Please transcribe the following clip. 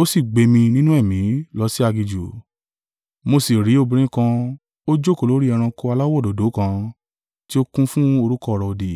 Ó sì gbé mi nínú ẹ̀mí lọ sí aginjù: mo sì rí obìnrin kan ó jókòó lórí ẹranko aláwọ̀ òdòdó kan tí ó kún fún orúkọ ọ̀rọ̀-òdì,